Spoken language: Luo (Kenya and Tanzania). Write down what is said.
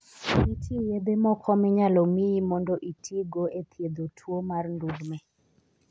Nitie yedhe moko minyalo miyi mondo itigo e thiedho tuwo mar ndulme.